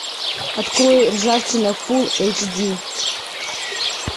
открой ржавчина фулл эйч ди